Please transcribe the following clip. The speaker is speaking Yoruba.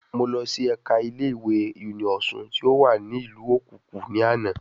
Mo lọ sí ẹ̀kà ilé ìwé Uniosun ti o wa ni ìlú òkukù ní àná